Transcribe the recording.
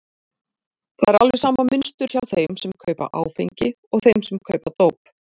Það er alveg sama mynstur hjá þeim sem kaupa áfengi og þeim sem kaupa dóp.